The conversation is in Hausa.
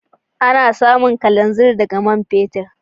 Ana samun kalanzir daga man fetur.